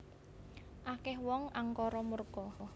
Akeh wong angkara murka